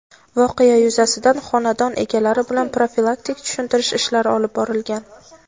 Voqea yuzasidan xonadon egalari bilan profilaktik tushuntirish ishlari olib borilgan.